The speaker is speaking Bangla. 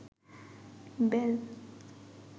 বেল